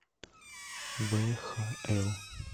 вхл